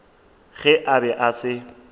ge a be a se